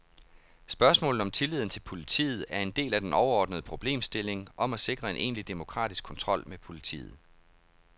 Spørgsmålet om tilliden til politiet er en del af den overordnede problemstilling om at sikre en egentlig demokratisk kontrol med politiet.